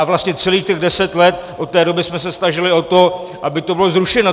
A vlastně celých těch deset let od té doby jsme se snažili o to, aby to bylo zrušeno.